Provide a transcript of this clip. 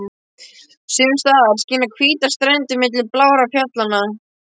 Sums staðar skína hvítar strendur milli blárra fjallanna.